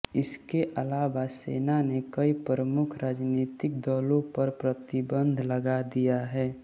इसके अलावा सेना ने कई प्रमुख राजनीतिक दलों पर प्रतिबंध लगा दिया है